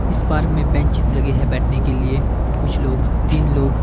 इस पार्क में बेंचेस लगे हैंबैठने के लिए कुछ लोग तीन लोग--